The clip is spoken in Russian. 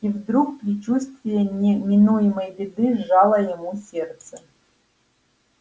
и вдруг предчувствие неминуемой беды сжало ему сердце